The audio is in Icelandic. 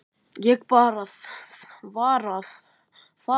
Ég bara varð að fara.